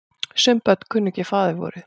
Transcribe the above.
Sum börn kunnu ekki faðirvorið.